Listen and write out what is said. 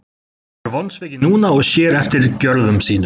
Hann er vonsvikinn núna og sér eftir gjörðum sínum.